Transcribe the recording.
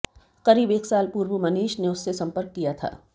करीब एक साल पूर्व मनीष ने उससे संपर्क किया था